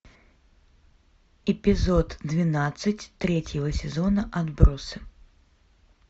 эпизод двенадцать третьего сезона отбросы